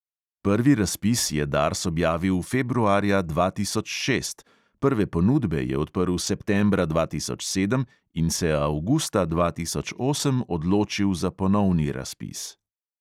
Prvi razpis je dars objavil februarja dva tisoč šest, prve ponudbe je odprl septembra dva tisoč sedem in se avgusta dva tisoč osem odločil za ponovni razpis.